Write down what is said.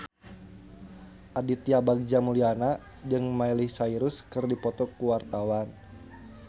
Aditya Bagja Mulyana jeung Miley Cyrus keur dipoto ku wartawan